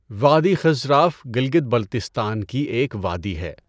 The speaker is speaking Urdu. وادی خنژراف گلگت بلتستان کی ایک وادی ہے